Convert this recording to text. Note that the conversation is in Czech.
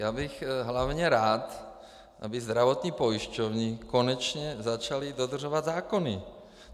Já bych hlavně rád, aby zdravotní pojišťovny konečně začaly dodržovat zákony.